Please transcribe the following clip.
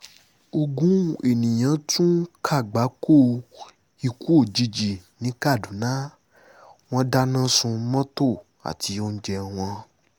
ogun èèyàn tún kàgbákò ikú òjijì ni kaduna wọn dáná sun mọ́tò àti oúnjẹ wọn